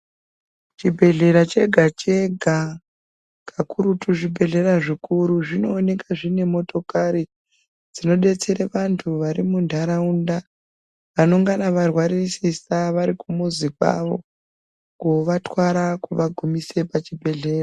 Chibhedhlera chega chega kakurutu zvibhedhlera zvikuru zvinooneka zvine motokari dzinodetsera vanthu vari muntharaunda vanengana varwasisa vari kumuzi kwavo kovatwara kuva gumisa kuchibhedhlera.